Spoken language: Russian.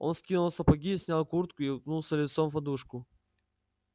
он скинул сапоги снял куртку и уткнулся лицом в подушку